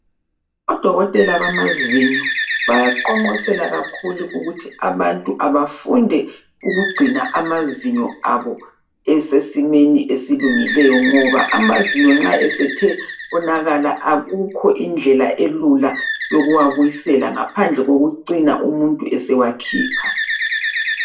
Odokotela bamazinyo bayaqonqosela kakhulu ukuthi abantu abafunde ukugcina amazinyo abo esesimeni esilungileyo ngoba amazinyo nxa esethe onakala akukho indlela elula yokuwabuyisela ngaphandle kokucina umuntu esewakhipha.